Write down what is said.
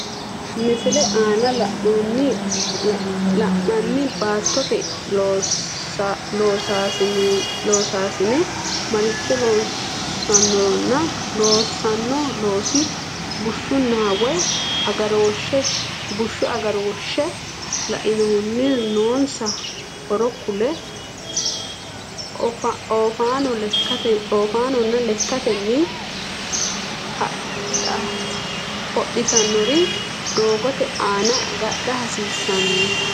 Misile aana la’inanni baattote loosaasine maricho loossannoronna loossanno loosi bushshunna wayi agarooshshe lainohunni noonsa horo kulle, Oofaanonna lekkatenni hodhitannori doogote aana agadha hasiissan?